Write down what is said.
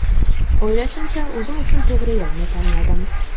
O‘ylashimcha, o‘zim uchun to‘g‘ri yo‘lni tanladim.